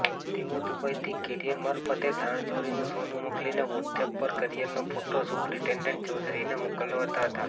તેઓ દુબઇથી કેરિયર મારફતે દાણચોરીનું સોનું મોકલીને વોટ્સએપ પર કેરિયરનો ફોટો સુપ્રિટેન્ડેન્ટ ચૌધરીને મોકલાવતા હતા